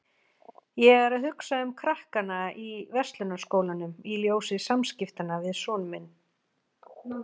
Ég er að hugsa um krakkana í Verslunarskólanum í ljósi samskiptanna við son minn.